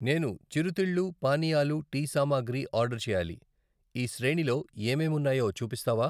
నేను చిరుతిళ్ళు, పానీయాలు, టీ సామాగ్రి, ఆర్డర్ చేయాలి, ఈ శ్రేణిలో ఏమేం ఉన్నాయో చూపిస్తావా?